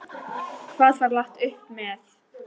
Hvað var lagt upp með?